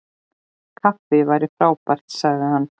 Kaffi væri frábært- sagði hann.